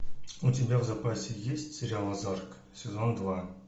у тебя в запасе есть сериал озарк сезон два